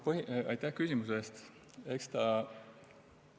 Aitäh küsimuse eest!